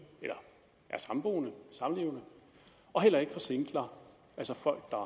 eller er samboende samlevende og heller ikke for singler altså folk der